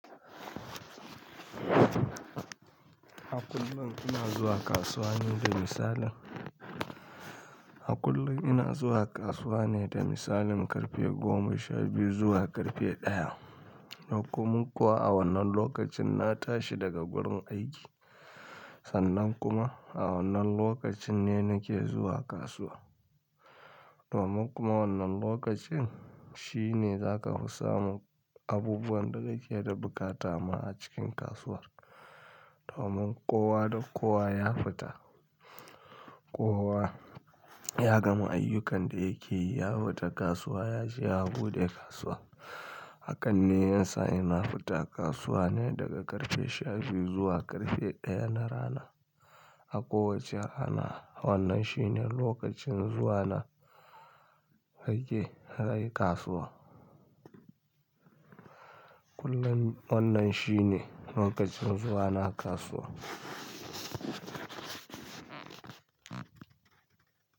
A kullum ina zuwa kasuwa ne da misalin, a kullum ina zuwa kasuwa ne da misalin karfe goma sha biyu zuwa karfe ɗaya. Domin kuwa a wannan lokacin na tashi daga gurin aiki, sannan kuma a wannan lokacin ne nake zuwa kasuwa. Domin kuma wannan lokacin shine zaka fi samun abubuwan da kike da buƙata ma a cikin kasuwar. Domin kowa da kowa ya fita, kowa ya gama ayyukan da yake yi ya fita kasuwa, ya je ya buɗe kasuwa. Hakan ne yasa ina fita kasuwa ne daga karfe sha biyu zuwa karfe ɗaya na rana. A kowace rana wannan shi ne lokacin zuwana aiki, a kasuwa. Kullum wannan shi ne lokacin zuwana kasuwa.